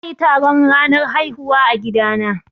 Za a yi taron ranar haihuwa a gida na